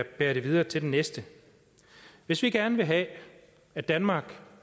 bære det videre til den næste hvis vi gerne vil have at danmark